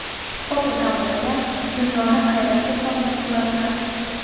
Fotogalereya: Dunyoni hayratga solgan suratlar.